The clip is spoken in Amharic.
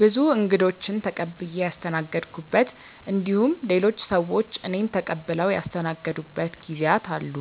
ብዙ እንግዶችን ተቀብዬ ያስተናገድኩበት እንዲሁም ሌሎች ሰዎች እኔን ተቀብለው ያስተናገዱበት ጊዜያት አሉ።